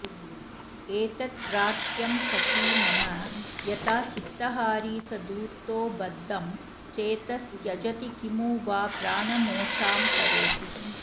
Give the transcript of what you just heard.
एतत्प्रार्थ्यं सखि मम यथा चित्तहारी स धूर्तो बद्धं चेतस्त्यजति किमु वा प्राणमोषां करोति